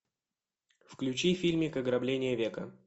включи фильмик ограбление века